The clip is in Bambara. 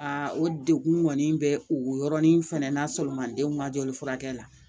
o dekun kɔni bɛ o yɔrɔnin fɛnɛ n'a sɔrɔ mandenw ka jɔli furakɛ la